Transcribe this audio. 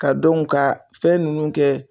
Ka ka fɛn ninnu kɛ.